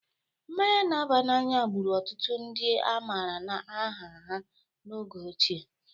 Mmanya n'aba n'anya gbụru ọtụtụ ndị a mara aha ha n'oge ochie